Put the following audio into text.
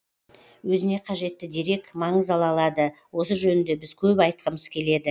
өзіне қажетті дерек маңыз ала алады осы жөнінде біз көп айтқымыз келеді